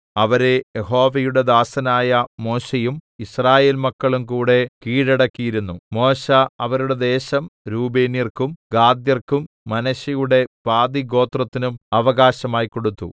അവരെ യഹോവയുടെ ദാസനായ മോശെയും യിസ്രായേൽമക്കളുംകൂടെ കീഴടക്കിയിരുന്നു മോശെ അവരുടെ ദേശം രൂബേന്യർക്കും ഗാദ്യർക്കും മനശ്ശെയുടെ പാതിഗോത്രത്തിനും അവകാശമായി കൊടുത്തു